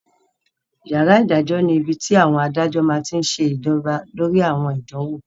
Yàrá ìdájọ́ ni ibi tí àwọn adájọ́ máa tí n ṣe jọba lórí àwọn ìdánwò